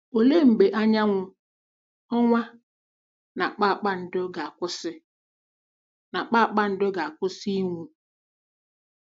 Olee mgbe anyanwụ, ọnwa, na kpakpando ga-akwụsị na kpakpando ga-akwụsị ịnwu?